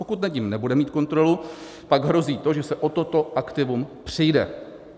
Pokud nad ním nebude mít kontrolu, pak hrozí to, že se o toto aktivum přijde.